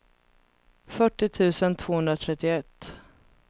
fyrtio tusen tvåhundratrettioett